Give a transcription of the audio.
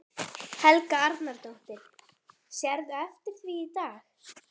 Helga Arnardóttir: Sérðu eftir því í dag?